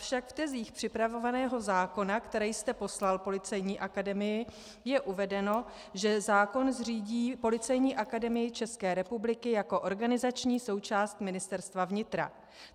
Avšak v tezích připravovaného zákona, které jste poslal Policejní akademii, je uvedeno, že zákon zřídí Policejní akademii České republiky jako organizační součást Ministerstva vnitra.